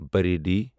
Bareilly